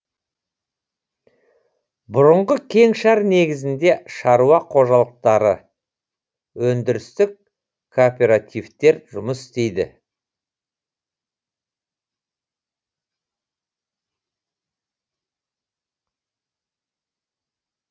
бұрынғы кеңшар негізінде шаруа қожалықтары өндірістік кооперативтер жұмыс істейді